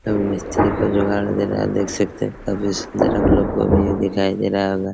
तो वो मिस्त्री का जुगाड़ दे रहा है आप देख सकते है अब इस को भी दिखाई दे रहा होगा।